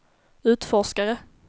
utforskare